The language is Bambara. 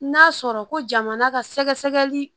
N'a sɔrɔ ko jamana ka sɛgɛsɛgɛli